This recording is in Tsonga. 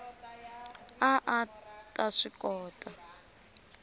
a a ta swi kota